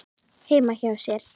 heima hjá sér.